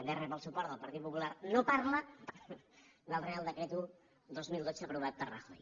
també rep el suport del partit popular no parla del reial decret un dos mil dotze aprovat per rajoy